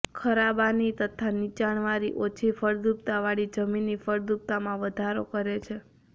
ખરાબાની તથા નીચાણવાળી ઓછી ફળદ્રુપતાવાળી જમીનની ફળદ્રુપતામાં વધારો કરે છે